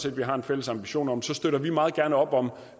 at vi har en fælles ambition om støtter vi meget gerne op om